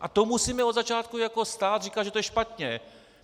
A to musíme od začátku jako stát říkat, že to je špatně.